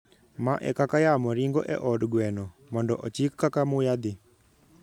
Ma e kaka yamo ringo e od gweno. Mondo ochik kaka muya dhi;